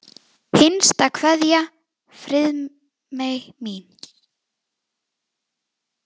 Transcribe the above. HINSTA KVEÐJA Friðmey mín.